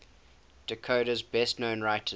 dakota's best known writers